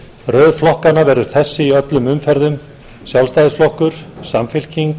röð flokkanna verður þessi í öllum umferðum sjálfstæðisflokkur samfylking